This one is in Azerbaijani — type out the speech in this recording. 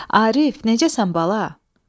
Arif, necəsən bala?